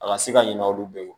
A ka se ka ɲinɛ olu bɛɛ kɔ